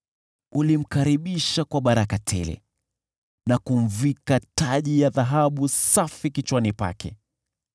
Ulimkaribisha kwa baraka tele na kumvika taji ya dhahabu safi kichwani pake.